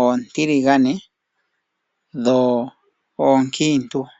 oontiligane dho oonkiintu.